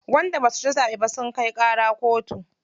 Wanda basu ci zaɓe ba sun kai ƙara kotu.